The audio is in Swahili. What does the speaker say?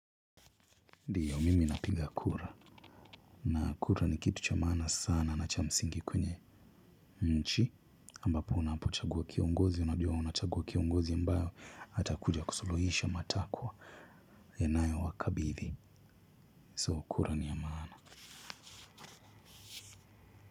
Ndiyo mimi napiga kura na kura ni kitu cha maana sana na cha msingi kwenye nchi ambapo unapochagua kiongozi unajua unachagua kiongozi ambayo hatakuja kusuluhisha matakwa enayo wakabithi soo kura ni ya maana.